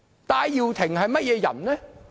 戴耀廷是甚麼人呢？